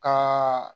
Ka